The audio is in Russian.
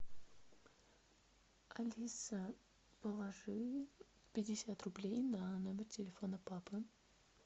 алиса положи пятьдесят рублей на номер телефона папы